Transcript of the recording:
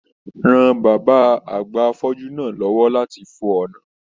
Ran bàbá àgbà afọju náà l'ọwọ lati fo ọna!